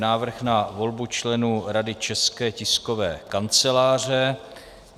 Návrh na volbu členů Rady České tiskové kanceláře